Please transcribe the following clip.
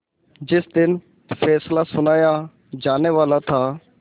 जिस दिन फैसला सुनाया जानेवाला था